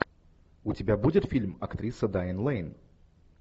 у тебя будет фильм актриса дайан лэйн